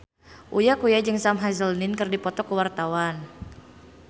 Uya Kuya jeung Sam Hazeldine keur dipoto ku wartawan